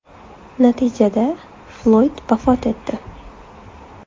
Natijada Floyd vafot etdi.